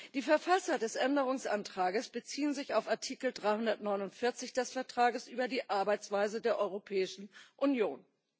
Die Verfasser des Änderungsantrages beziehen sich auf Artikel 349 des Vertrages über die Arbeitsweise der Europäischen Union.